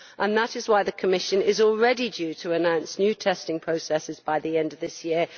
That is why the Commission is already due to announce new testing processes by the end of this year.